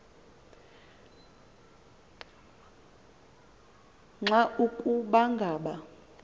nqa ukuba ngaba